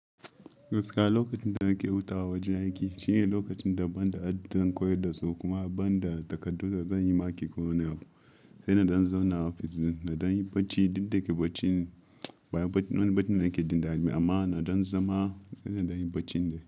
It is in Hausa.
Gaskiya lokacin da nake hutawa a wajen aiki shine lokacin da ban da dadin koyar da su kuma ban da takardu da zan yi marking ko wani abu. Sai na don zauna ofis na dan yi bacci, duk da ke bacci baya wani bacci nake jin daɗi amma ina dan zama ina dan yi bacci dai.